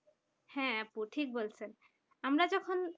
হ্যাঁ আপু ঠিক বলছেন আমরা যখন